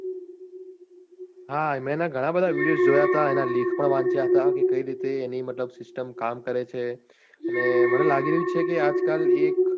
હા મેં એના ઘણા બધા videos જોયાતા એના લેખ પણ વાંચ્યા હતા કે કઈ રીતે એની મતલબ system કામ કરે છે અને મને લાગી રહ્યું છે કે આજકાલ એ